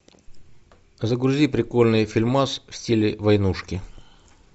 загрузи прикольный фильмас в стиле войнушки